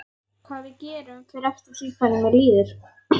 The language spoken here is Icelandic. Hvað við gerum fer eftir því hvernig mér líður.